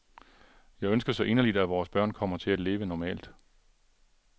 Jeg ønsker så inderligt, at vores børn kommer til at leve normalt.